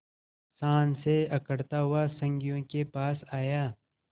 शान से अकड़ता हुआ संगियों के पास आया